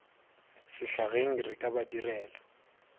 sehlageng re ka ba direla